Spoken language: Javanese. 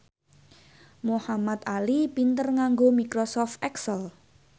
Muhamad Ali pinter nganggo microsoft excel